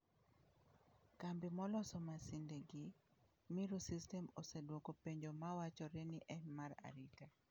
Kambi maloso masinde gi, Miru Systems oseduoko penjo mawachore ni en mar arita.